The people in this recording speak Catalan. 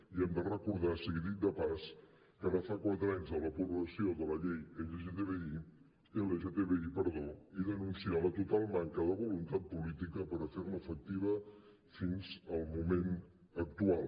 i hem de recordar sigui dit de pas que ara fa quatre anys de l’aprovació de la llei lgtbi i denunciar la total manca de voluntat política per a fer la efectiva fins al moment actual